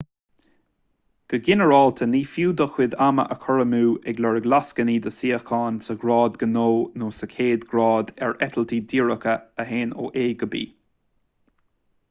go ginearálta ní fiú do chuid ama a chur amú ag lorg lascainí do shuíocháin sa ghrád gnó nó sa chéad grád ar eitiltí díreacha a théann ó a go b